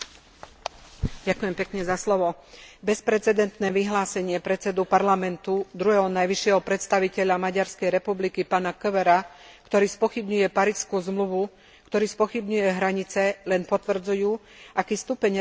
Bezprecedentné vyhlásenie predsedu Parlamentu, druhého najvyššieho predstaviteľa Maďarskej republiky, pána Kövéra, ktorý spochybňuje Parížsku zmluvu, ktorý spochybňuje hranice, len potvrdzujú, aký stupeň revizionizmu maďarská politika uplatňuje.